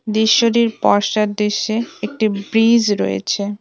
দৃশ্যটির পশ্চাদ দৃশ্যে একটি ব্রীজ রয়েছে।